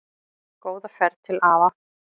Góða ferð til afa.